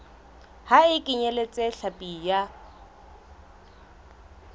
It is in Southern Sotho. ha e kenyeletse hlapi ya